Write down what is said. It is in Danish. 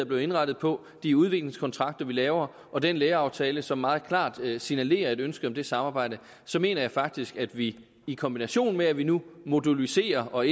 blevet indrettet på de udligningskontrakter vi laver og den læreraftale som meget klart signalerer et ønske om det samarbejde mener jeg faktisk at vi i kombination med at vi nu moduliserer og